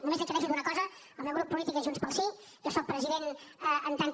només li aclareixo una cosa el meu grup polític és junts pel sí jo soc president en tant que